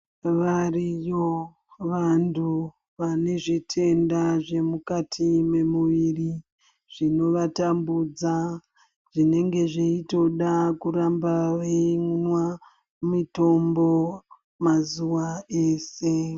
Varimo vantu vane zvitenda zve mukati me muviri zvino vatambudza zvinenge zveitoda kuramba weimwa mitombo mazuva eshe.